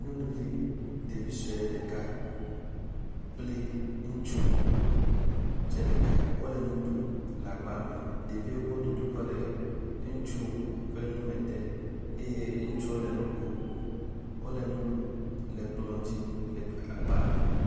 Nyɔnuvi ɖevi sɔe ɖeka kple ŋutsu tsɛ ɖeka wole nu ɖum le agba me, ɖevi tsɔ nuɖuɖu kɔ le ŋutsu ƒe nu me dem eye ŋutsuɔ le nu kom. Wole nu ɖum le kplɔ dzi le agba me.